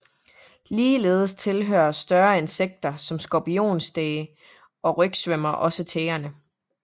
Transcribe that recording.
Ligeledes tilhører større insekter som skorpionstæge og rygsvømmer også tægerne